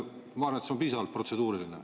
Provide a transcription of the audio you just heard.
Ma arvan, et see on piisavalt protseduuriline.